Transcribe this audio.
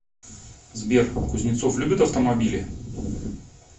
сбер кузнецов любит автомобили